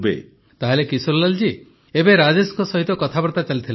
ପ୍ରଧାନମନ୍ତ୍ରୀ ତାହେଲେ କିଶୋରୀଲାଲ ଏବେ ରାଜେଶଙ୍କ ସହିତ କଥାବାର୍ତ୍ତା ଚାଲିଥିଲା